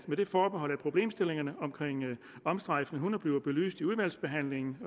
med det forbehold at problemstillingerne om omstrejfende hunde bliver belyst i udvalgsbehandlingen